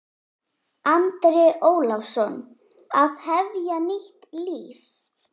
Andri Ólafsson: Að hefja nýtt líf?